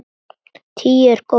Tíu er góð tala.